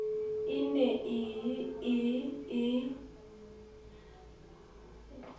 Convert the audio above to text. e ne e ye e